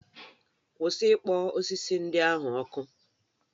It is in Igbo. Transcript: Kwụsị ikpọ osisi ndị ahụ ọkụ.